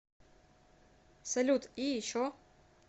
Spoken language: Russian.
салют и еще